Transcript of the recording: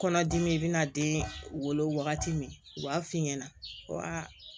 Kɔnɔdimi i bɛ na den wolo wagati min u b'a f'i ɲɛna ko aa